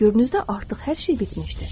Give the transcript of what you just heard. Təfəkkürünüzdə artıq hər şey bitmişdir.